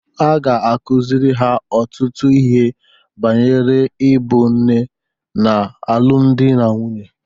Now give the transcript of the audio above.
A ga-akụziri ha ọtụtụ ihe banyere ịbụ nne na alụmdi na nwunye.